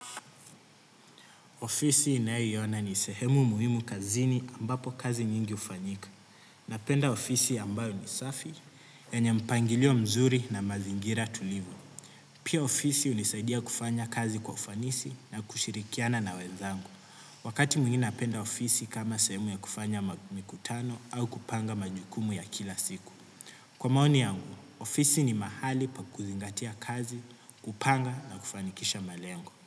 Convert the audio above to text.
Ofisi inayiona ni sehemu muhimu kazini ambapo kazi nyingi ufanyika. Napenda ofisi ambayo ni safi, yanye mpangilio mzuri na mazingira tulivu. Pia ofisi unisaidia kufanya kazi kwa ufanisi na kushirikiana na wezangu. Wakati mwingine napenda ofisi kama sehemu ya kufanya mikutano au kupanga majukumu ya kila siku. Kwa maoni yangu, ofisi ni mahali pa kuzingatia kazi, kupanga na kufanikisha malengo.